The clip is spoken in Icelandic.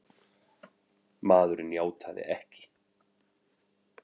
Maðurinn játaði ekki!